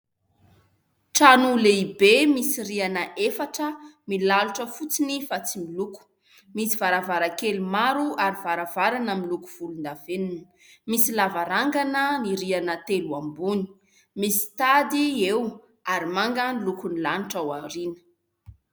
Trano lehibe misy rihana efatra milalotra fotsiny fa tsy miloko. Misy varavarakely maro ary varavarana miloko volon-davenina misy lavarangana ny rihana telo ambony misy tady eo ary manga ny lokon'ny lanitra ao aoriana.